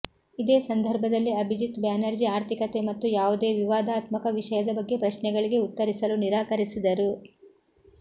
ಇದೆ ಸಂದರ್ಭದಲ್ಲಿ ಅಭಿಜಿತ್ ಬ್ಯಾನರ್ಜಿ ಆರ್ಥಿಕತೆ ಮತ್ತು ಯಾವುದೇ ವಿವಾದಾತ್ಮಕ ವಿಷಯದ ಬಗ್ಗೆ ಪ್ರಶ್ನೆಗಳಿಗೆ ಉತ್ತರಿಸಲು ನಿರಾಕರಿಸಿದರು